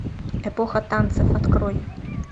эпоха танцев открой